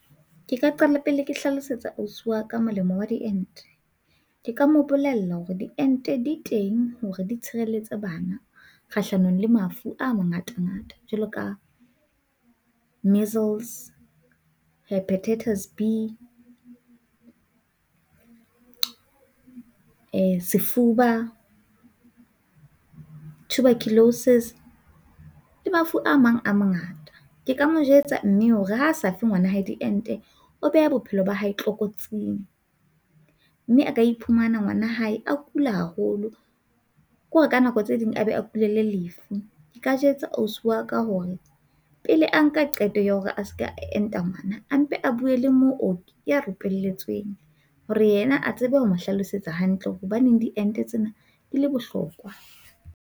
Ke ka qala pele ke hlalosetsa ausi wa ka molemo wa diente. Ke ka mo bolella hore diente di teng hore di tshireletse bana kgahlanong le mafu a mangata ngata jwalo ka measles, hepatitis B, e sefuba, tuberculosis le mafu a mang a mangata. Ke ka mo jwetsa mme hore ha se fe ngwana hae diente o beha bophelo ba hae tlokotsing mme a ka iphumana ngwana hae a kula haholo kore ka nako tse ding a be a kulele lefu. Nka jwetsa ausi wa ka hore pele a nka qeto ya hore a seka enta ngwana a mpe a buwe le mooki hore yena a tsebe ho mo hlalosetsa hantle hore hobaneng diente tsena di le bohlokwa.